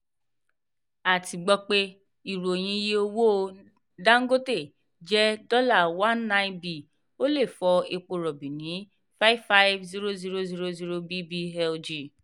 a ti gbọ́ ìròyìn pé iye owó dangote jẹ́ $ nineteen b ó lè fò epo rọ̀bì ní five hundred fifty thousand bbl/g.